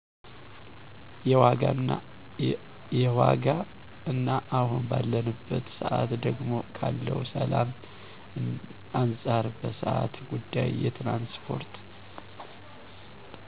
የዋጋ እና አሁን ባለንበት ሰአት ደግሞ ካለው ሰላም አንጻር በሰአት ጉዳይ የትራንስፓርት